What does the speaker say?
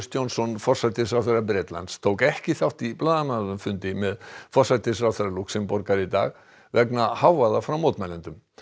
Johnson forsætisráðherra Bretlands tók ekki þátt í blaðamannafundi með forsætisráðherra Lúxemborgar í dag vegna hávaða frá mótmælendum